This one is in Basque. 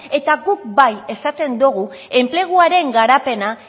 eta guk bai esaten dogu enpleguaren garapena